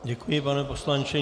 Děkuji, pane poslanče.